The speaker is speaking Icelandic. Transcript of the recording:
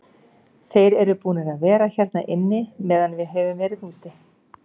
Þeir eru búnir að vera hérna inni meðan við höfum verið úti.